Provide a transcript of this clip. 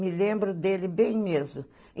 Me lembro dele bem mesmo.